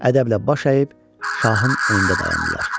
Ədəblə baş əyib şahın önündə dayandılar.